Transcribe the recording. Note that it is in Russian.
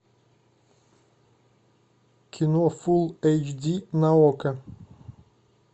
кино фулл эйч ди на окко